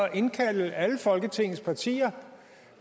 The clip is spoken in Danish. at indkalde alle folketingets partier